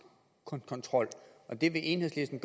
kontrol og det vil enhedslisten